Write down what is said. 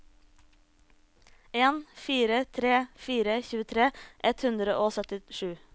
en fire tre fire tjuetre ett hundre og syttisju